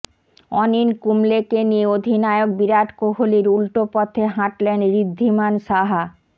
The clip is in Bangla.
অনিল কুম্বলেকে নিয়ে অধিনায়ক বিরাট কোহলির উল্টো পথে হাঁটলেন ঋদ্ধিমান সাহা